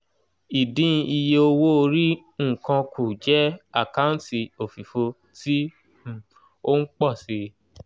ìdín iye owó-orí nǹkan kù jẹ́ àkáǹtì òfìfo tí um ó ń pọ̀ si